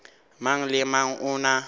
mang le mang o na